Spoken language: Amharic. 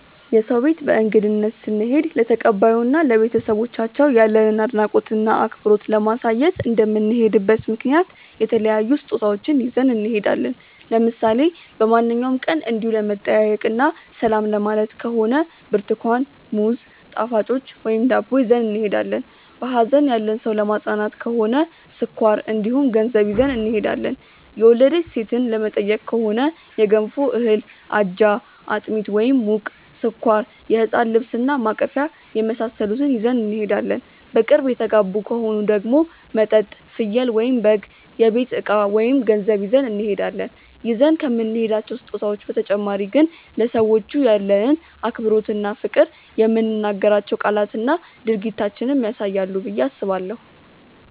የሰው ቤት በእንግድነት ስንሄድ ለተቀባዩ እና ለቤተሰቦቻቸው ያለንን አድናቆት እና አክብሮት ለማሳየት እንደምንሄድበት ምክንያት የተለያዩ ስጦታዎችን ይዘን እንሄዳለን። ለምሳሌ በማንኛውም ቀን እንዲው ለመጠያየቅ እና ሰላም ለማየት ከሆነ ብርትኳን፣ ሙዝ፣ ጣፋጮች ወይም ዳቦ ይዘን እንሄዳለን። በሀዘን ያለን ሰው ለማፅናናት ከሆነ ስኳር እንዲሁም ገንዘብ ይዘን እንሄዳለን። የወለደች ሴትን ለመጠየቅ ከሆነ የገንፎ እህል፣ አጃ፣ አጥሚት (ሙቅ)፣ስኳር፣ የህፃን ልብስ እና ማቀፊያ የመሳሰሉትን ይዘን እንሄዳለን። በቅርብ የተጋቡ ከሆኑ ደግሞ መጠጥ፣ ፍየል/በግ፣ የቤት እቃ ወይም ገንዘብ ይዘን እንሄዳለን። ይዘን ከምንሄዳቸው ስጦታዎች በተጨማሪ ግን ለሰዎቹ ያለንን አክብሮት እና ፍቅር የምንናገራቸው ቃላትና ድርጊታችንም ያሳያሉ ብዬ አስባለሁ።